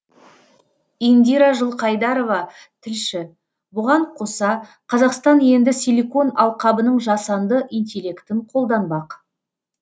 индира жылқайдарова тілші бұған қоса қазақстан енді силикон алқабының жасанды интеллектін қолданбақ